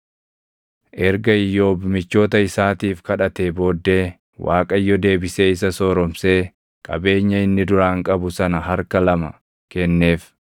Erga Iyyoob michoota isaatiif kadhatee booddee Waaqayyo deebisee isa sooromsee qabeenya inni duraan qabu sana harka lama kenneef.